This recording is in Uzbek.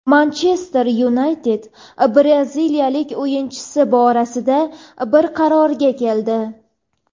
"Manchester Yunayted" braziliyalik o‘yinchisi borasida bir qarorga keldi.